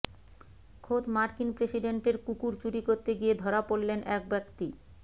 খোদ মার্কিন প্রেসিডেন্টের কুকুর চুরি করতে গিয়ে ধরা পড়লেন এক ব্যক্তি